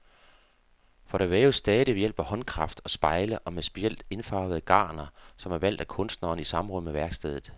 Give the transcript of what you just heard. For der væves stadig ved hjælp af håndkraft og spejle og med specielt indfarvede garner, som er valgt af kunstneren i samråd med værkstedet.